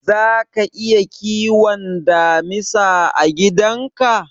Zaka iya kiwon damisa a gidan ka?